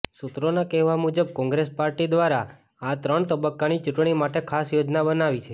સુત્રોના કહેવા મુજબ કોંગ્રેસ પાર્ટી દ્વારા આ ત્રણ તબક્કાની ચૂંટણી માટે ખાસ યોજના બનાવી છે